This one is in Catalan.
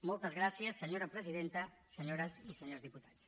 moltes gràcies senyora presidenta senyores i senyors diputats